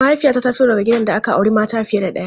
Mahaifiyata ta fito daga gidan da aka auri mata fiye da ɗaya.